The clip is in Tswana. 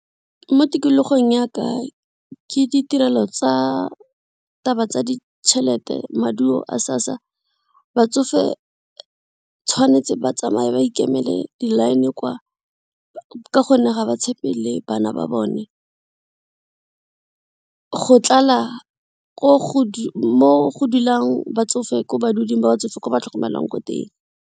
Mo tikologong yaka ke ditirelo tsa taba tsa ditšhelete maduo a SASSA, batsofe tshwanetse ba tsamaye ba ikemele di-line kwa ka gonne ga ba tshepe le bana ba bone. Go tlala mo go dulang batsofe ko ba batsofe ko ba tlhokomelwang ko teng.